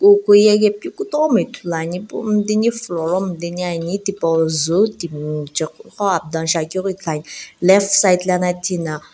ukuyae pi kutomo ithulu ane ipu midini floor mideniane thipou zii timi jaeghu ko up down shiaghi keu ithulu ane left side thina --